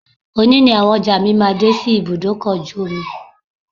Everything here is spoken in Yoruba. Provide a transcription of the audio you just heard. Òní ni àwọn ọjà mi máa dé sí ibùdó ọkọ̀ ojú omi